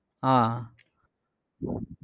அஹ்